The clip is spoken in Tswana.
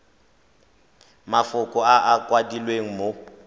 mafoko a a kwadilweng mo